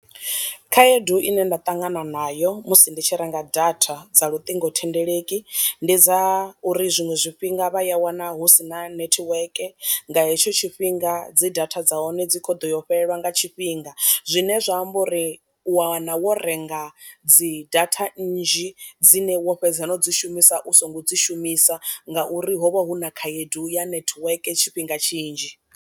Khaedu i ne nda ṱangana nayo musi ndi tshi renga data dza luṱingothendeleki, ndi dza uri zwiṅwe zwifhinga vha ya wana hu sina nethiweke nga hetsho tshifhinga dzi data dza hone dzi kho ḓo yo fhelelwa fhelelwa nga tshifhinga, zwine zwa amba uri u wa wana wo renga dzi data nnzhi dzine wo fhedza na u dzi shumisa u songo dzi shumisa nga uri ho vha hu na khaedu ya nethiweke tshifhinga tshinzhi.